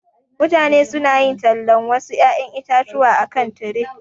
Mutane su na yin talan wasu ƴaƴan itatuwa a kan tire.